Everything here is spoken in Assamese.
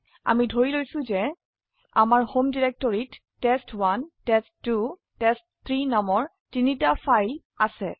আমি ধৰি লৈছো যে আমাৰhome ডিৰেক্টৰিত টেষ্ট1 টেষ্ট2 টেষ্ট3 নামৰ তিনটি ফাইল আছে